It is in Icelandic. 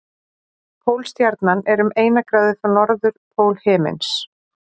Pólstjarnan er um eina gráðu frá norðurpól himins.